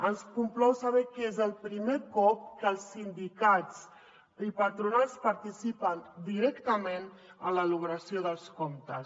ens complau saber que és el primer cop que els sindicats i patronals participen directament en l’elaboració dels comptes